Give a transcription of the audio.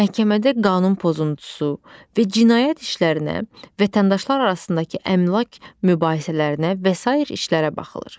Məhkəmədə qanun pozuntusu və cinayət işlərinə, vətəndaşlar arasındakı əmlak mübahisələrinə və sair işlərə baxılır.